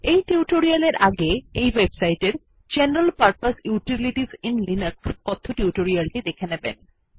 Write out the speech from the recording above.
এই টিউটোরিয়াল এর আগে এই ওয়েবসাইট এর general purpose utilities in Linux কথ্য টিউটোরিয়ালটি দেখে নেবেন